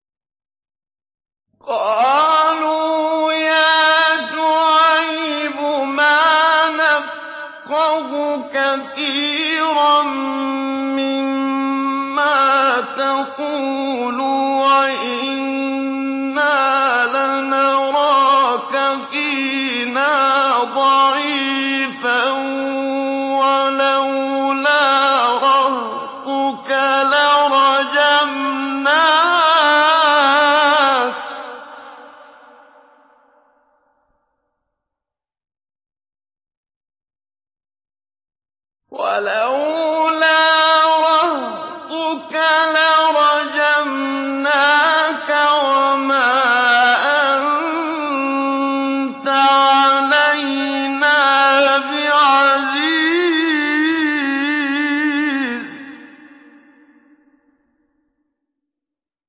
قَالُوا يَا شُعَيْبُ مَا نَفْقَهُ كَثِيرًا مِّمَّا تَقُولُ وَإِنَّا لَنَرَاكَ فِينَا ضَعِيفًا ۖ وَلَوْلَا رَهْطُكَ لَرَجَمْنَاكَ ۖ وَمَا أَنتَ عَلَيْنَا بِعَزِيزٍ